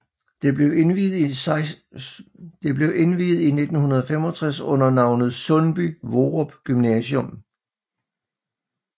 Det blev indviet i 1965 under navnet Sundby Hvorup Gymnasium